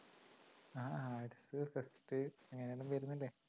ആ arts ഉ fest ഉ അങ്ങിനെയെല്ലാം വരുന്നില്ലേ